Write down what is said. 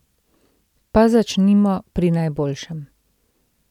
Pa začnimo pri najboljšem.